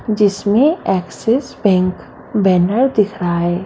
जिसमे Axis Bank banner दिख रहा है।